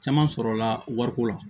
Caman sɔrɔla wariko la